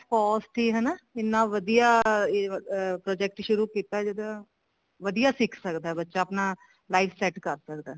cost ਹੀ ਹਨਾ ਇੰਨਾ ਵਧੀਆ ਇਹ ਅਮ project ਸ਼ੁਰੂ ਕੀਤਾ ਜਿਹੜਾ ਵਧੀਆ ਸਿੱਖ ਸਕਦਾ ਬੱਚਾ ਆਪਣਾ life set ਕਰ ਸਕਦਾ